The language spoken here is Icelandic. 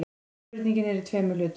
Spurningin er í tveimur hlutum.